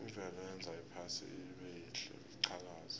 imvelo yenza iphasi libelihle liqhakaze